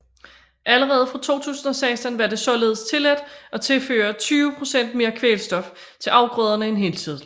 Allerede fra 2016 var det således tilladt at tilføre 20 procent mere kvælstof til afgrøderne end hidtil